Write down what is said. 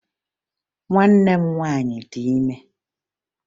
Nwanne m nwaanyị dị ime